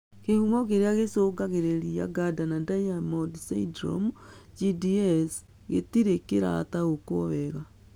Kĩhumo kĩrĩa gĩcũngagĩrĩria Gardner Diamond syndrome (GDS) gĩtirĩ kĩrataũkwo wega